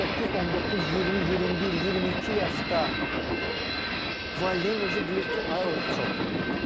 18, 19, 20, 21, 22 yaşda valideyn deyir ki, ay o uşaq çatdırmıram.